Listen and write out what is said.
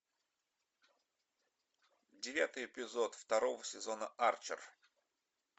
девятый эпизод второго сезона арчер